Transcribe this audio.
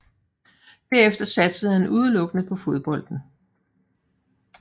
Derefter satsede han udelukkende på fodbolden